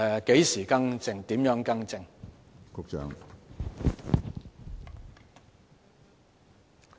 何時更改、如何更正？